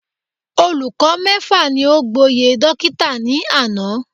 Olùkọ mẹ́fà ni o gboyè dókítà ní àná